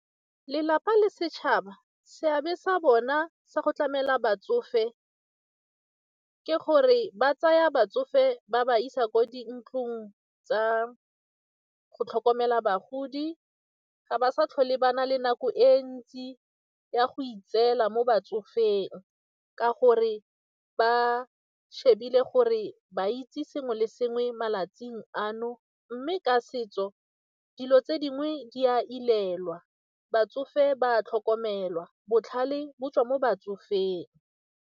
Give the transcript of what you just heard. Lelapa le setšhaba, seabe sa bona sa go tlamela batsofe ka gore ba tsaya batsofe ba ba isa kwa dintlong tsa go tlhokomela bagodi, ga ba sa tlhole ba na le nako e ntsi ya go itseela mo batsofeng ka gore ba shebile gore ba itse sengwe le sengwe mo malatsing ano mme ka setso dilo tse dingwe di a ilelwa, batsofe ba a tlhokomelwa, botlhale bo tswa mo batsofeng.